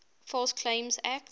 false claims act